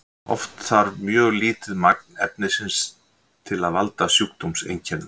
oft þarf mjög lítið magn efnisins til að valda sjúkdómseinkennum